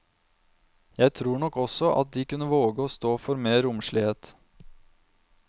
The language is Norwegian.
Jeg tror nok også at de kunne våge å stå for mer romslighet.